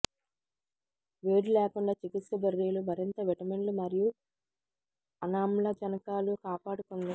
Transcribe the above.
వేడి లేకుండా చికిత్స బెర్రీలు మరింత విటమిన్లు మరియు అనామ్లజనకాలు కాపాడుకుంది